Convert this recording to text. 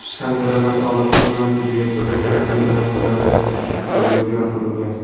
tan jarohati olib tuman tibbiyot birlashmasining jonlantirish bo‘limiga yotqizilgan.